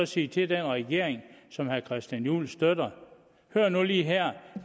sige til den regering som herre christian juhl støtter hør nu lige her